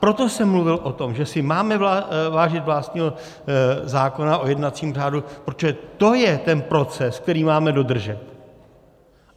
Proto jsem mluvil o tom, že si máme vážit vlastního zákona o jednacím řádu, protože to je ten proces, který máme dodržet.